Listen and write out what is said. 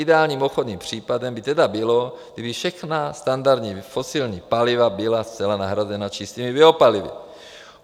Ideálním obchodním případem by tedy bylo, kdyby všechna standardní fosilní paliva byla zcela nahrazena čistými biopalivy.